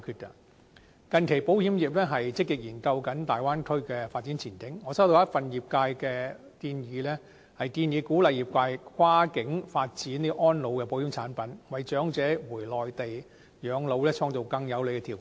近期保險業積極研究大灣區的發展前景，我收到一份業界的建議，鼓勵業界跨境發展安老的保險產品，為長者回內地養老創造更有利的條件。